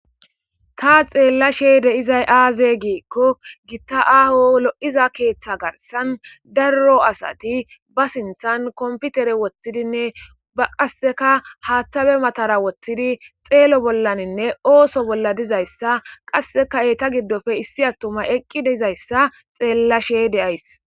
ta xeella sheede izay aaze giikko gitta aaho lo7iza keeththa garsan darro asati ba sinthan komputere woththidinne ba qasseka haaththabe matara woththidi xeelo bollaninne ooso bolla dizayssa qasseka eeta giddofe issi attuma eqqi deizayssa xeella sheyde ays